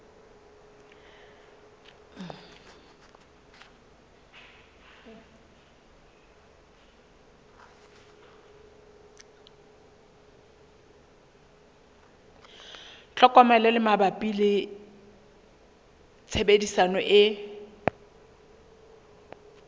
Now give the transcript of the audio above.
tlhokomelo mabapi le tshebediso e